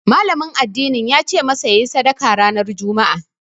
Malamin addinin yace masa yayi sadaka ranar Juma'a